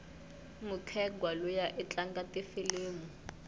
mukhegwa luya itlanga tifilimu